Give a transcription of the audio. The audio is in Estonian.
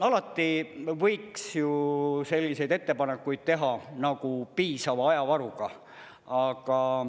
Alati võiks ju selliseid ettepanekuid teha nagu piisava ajavaruga.